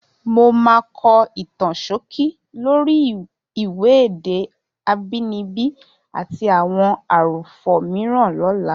Mo máa kọ ìtàn ṣókí lórí ìwé Èdè Àbínibí àti Àwọn Àròfọ̀ Mìíràn lọ́la.